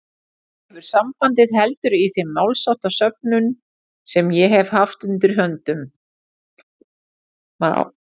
ekki hefur sambandið heldur í þeim málsháttasöfnum sem ég hef haft undir höndum